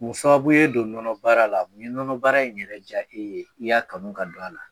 Mun sababu ye don nɔnɔ bara la? Mun ye nɔnɔ bara in yɛrɛ ja e ye n'i y'a kanu ka don a la ?